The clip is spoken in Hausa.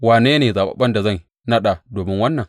Wane ne zaɓaɓɓen da zan naɗa domin wannan?